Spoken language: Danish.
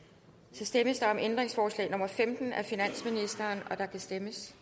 så stemmes der om ændringsforslag nummer femten af finansministeren og der kan stemmes